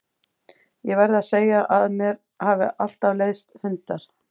Það verð ég að segja að mér hafa alltaf leiðst hundar.